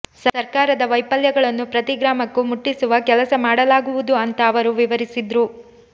ಸರ್ಕಾರದ ವೈಫಲ್ಯಗಳನ್ನು ಪ್ರತಿ ಗ್ರಾಮಕ್ಕೂ ಮುಟ್ಟಿಸುವ ಕೆಲಸ ಮಾಡಲಾಗುವುದು ಅಂತ ಅವರು ವಿವರಿಸಿದ್ರು